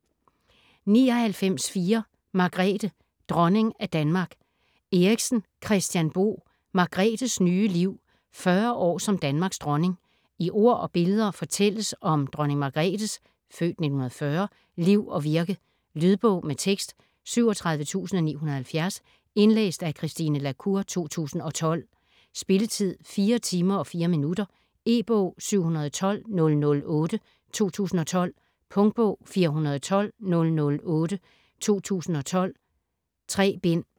99.4 Margrethe: dronning af Danmark Eriksen, Kristian Bo: Margrethes nye liv: 40 år som Danmarks dronning I ord og billeder fortælles om Dronning Margrethes (f. 1940) liv og virke. Lydbog med tekst 37970 Indlæst af Christine la Cour, 2012. Spilletid: 4 timer, 4 minutter. E-bog 712008 2012. Punktbog 412008 2012. 3 bind.